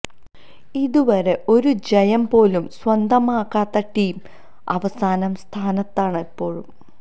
ഇതുവരെ ഒരു ജയം പോലും സ്വന്തമാക്കാത്ത ടീം അവസാന സ്ഥാനത്താണ് ഇപ്പോഴും